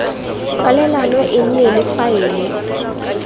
kwalelano e nne le faele